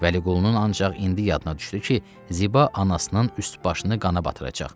Vəliqulunun ancaq indi yadına düşdü ki, Ziba anasının üst-başını qana batıracaq.